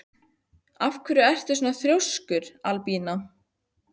Af hverju ertu svona þrjóskur, Albína?